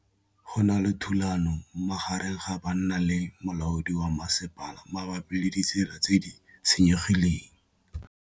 Go na le thulanô magareng ga banna le molaodi wa masepala mabapi le ditsela tse di senyegileng.